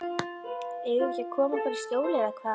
Eigum við ekki að koma okkur í skjól eða hvað?